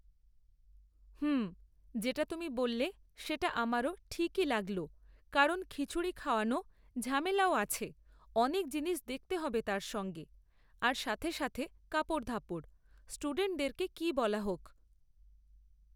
হুম যেটা তুমি বললে সেটা আমারও ঠিকই লাগল কারণ খিচুড়ি খাওয়ানো ঝামেলাও আছে অনেক জিনিস দেখতে হবে তার সঙ্গে আর সাথে সাথে কাপড়ধাপর স্টুডেন্টদেরকে কি বলা হোক